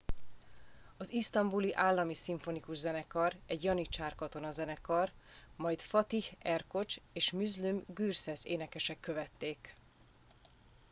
az isztambuli állami szimfonikus zenekar egy janicsár katonazenekar majd fatih erkoç és müslüm gürses énekesek követték